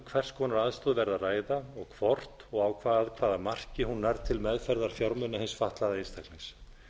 hvers konar aðstoð verði að ræða og hvort og á hvaða marki hún nær til meðferðar fjármuna hins fatlaða einstaklings